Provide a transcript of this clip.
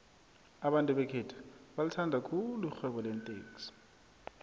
abantu bekhethu balithanda khulu irhwebo leentexi